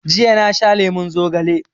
Jiya na sha lemon zogale